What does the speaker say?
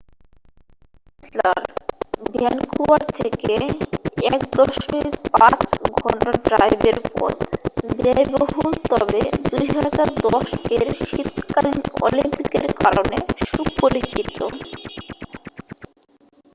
Whistler Vancouver থেকে 1.5 ঘন্টা ড্রাইভের পথ ব্যয়বহুল তবে 2010 এর শীতকালীন অলিম্পিকের কারণে সুপরিচিত।